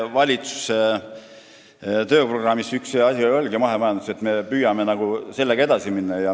Valitsuse tööprogrammis ongi üks asi mahemajandus, millega me püüame edasi minna.